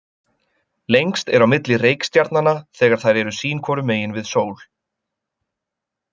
Lengst er á milli reikistjarnanna þegar þær eru sín hvoru megin við sól.